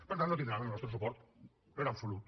per tant no tindran el nostre suport en absolut